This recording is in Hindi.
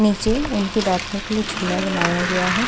नीचे उनके बैठने के लिए झूला बनाया गया है।